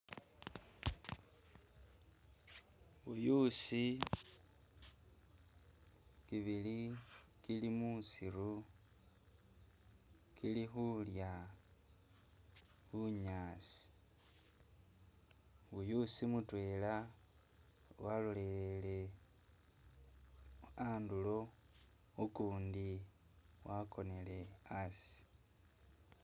buyuusi kibili kili musiru kili hulya bunyaasi, buyuusi mutwela walolelele andulo, ukundi wakonele asi